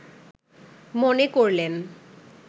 মনে করলেন